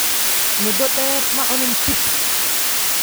Muddo dheer ma aan cunin chips.